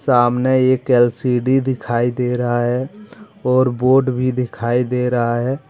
सामने एक एल_सी_डी दिखाई दे रहा है और बोर्ड भी दिखाई दे रहा है।